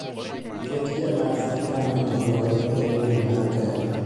ket jalas gi kamene goro e redio mar gari